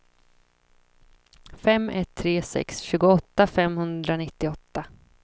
fem ett tre sex tjugoåtta femhundranittioåtta